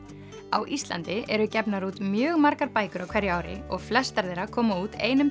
á Íslandi eru gefnar út mjög margar bækur á hverju ári og flestar þeirra koma út einum